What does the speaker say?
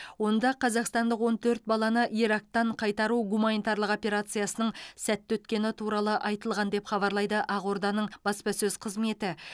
онда қазақстандық он төрт баланы ирактан қайтару гуманитарлық операциясының сәтті өткені туралы айтылған деп хабарлайды ақорданың баспасөз қызметі